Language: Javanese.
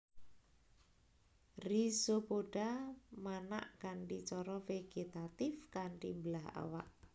Rhizopoda manak kanthi cara vegetatif kanthi mbelah awak